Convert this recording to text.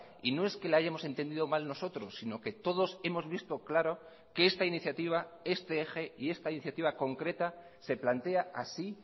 y no es que la hayamos entendido mal nosotros sino que todos hemos visto claro que esta iniciativa este eje y esta iniciativa concreta se plantea así